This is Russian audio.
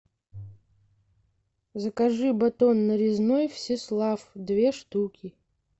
закажи батон нарезной всеслав две штуки